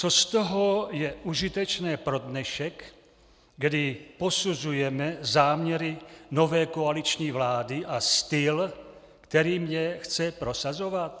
Co z toho je užitečné pro dnešek, kdy posuzujeme záměry nové koaliční vlády a styl, kterým je chce prosazovat?